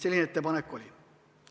Selline ettepanek oli.